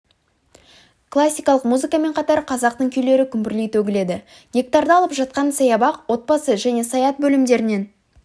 классикалық музыкамен қатар қазақтың күйлері күмбірлей төгіледі гектарды алып жатқан саябақ отбасы және саят бөлімдерінен